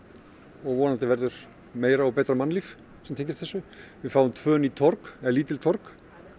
og vonandi verður meira og betra mannlíf sem tengist þessu við fáum tvö ný torg eða lítil torg